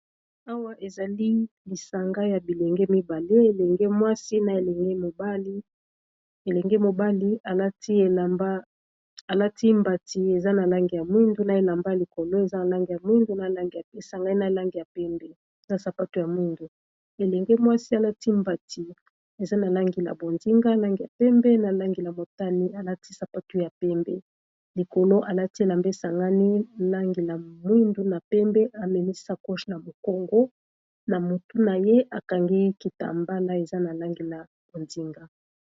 Awa ezali lisanga ya bilenge mibale elenge mwasi na elenge mobali, elenge mobali alati mbati eza na langi ya mwindu na elamba ya likolo eza na langi ya mwindu esangani na langi ya pembe na sapatu ya mwindu. Elenge mwasi alati mbati eza na langi na bonzinga, langi ya pembe, na langi ya motane alati sapatu ya pembe likolo alati elamba esangani langi ya mwindu na pembe amemi sakoshi na mukongo na mutu naye atie kitambala oyo eza na langi ya bonzinga.